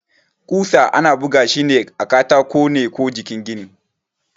ƙusa ana bugashi a katako ne ko jikin gini.